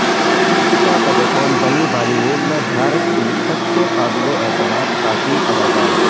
دیپکا پڈوکون بنی بالی ووڈ میں بھارت کی سب سے قابل اعتماد خواتین اداکارہ